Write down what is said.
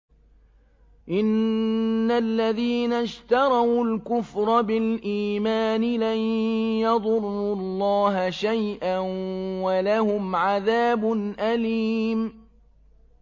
إِنَّ الَّذِينَ اشْتَرَوُا الْكُفْرَ بِالْإِيمَانِ لَن يَضُرُّوا اللَّهَ شَيْئًا وَلَهُمْ عَذَابٌ أَلِيمٌ